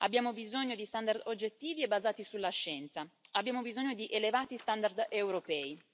Abbiamo bisogno di standard oggettivi e basati sulla scienza, abbiamo bisogno di elevati standard europei.